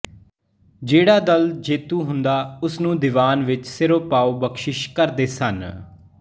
ਜਿਹੜਾ ਦਲ ਜੇਤੂ ਹੁੰਦਾ ਉਸ ਨੂੰ ਦੀਵਾਨ ਵਿੱਚ ਸਿਰੋਪਾਓ ਬਖਸ਼ਿਸ਼ ਕਰਦੇ ਸਨ